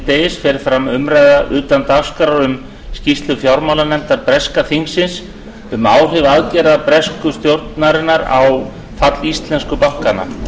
miðdegis fer fram umræða utan dagskrár um skýrslu fjármálanefndar breska þingsins um áhrif aðgerða bresku stjórnarinnar á fall íslensku bankanna